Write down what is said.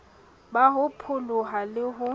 ba ho pholoha le ho